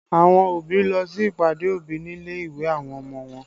Àwọn òbí lọ sí ìpàdé òbí nílé ìwé àwọn ọmọ wọn